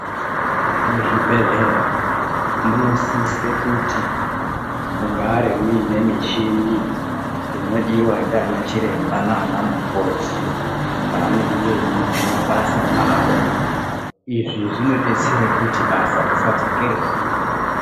Muzvibhedhlera munosise kuti mugare muine michini inodiva ndiana chiremba nanamukoti paanenge eiite mabasa avo. Izvi zvinobetsere kuti basa risadzokere sure.